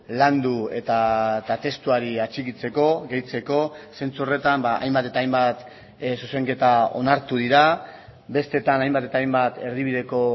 landu eta testuari atxikitzeko gehitzeko zentzu horretan hainbat eta hainbat zuzenketa onartu dira besteetan hainbat eta hainbat erdibideko